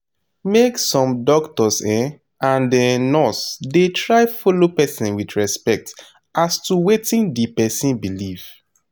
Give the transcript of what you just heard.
make sum doctors um and um nurse da try follow person with respect as to wetin d person believe